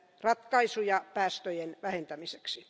ratkaisuja päästöjen vähentämiseksi.